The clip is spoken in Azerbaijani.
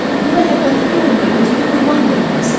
Bu məhəbbətin yolunda özünü qurban verməlisən.